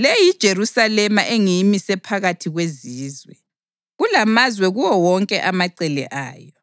Le yiJerusalema engiyimise phakathi kwezizwe, kulamazwe kuwo wonke amacele ayo.